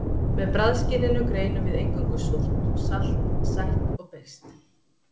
Með bragðskyninu greinum við eingöngu súrt, salt, sætt og beiskt.